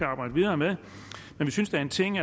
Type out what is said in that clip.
arbejde videre med vi synes der er en ting